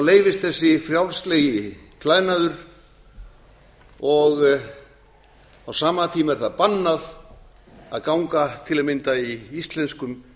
leyfist þessi frjálslegi klæðnaður og á sama tíma er það bannað að ganga til að mynda í íslenskum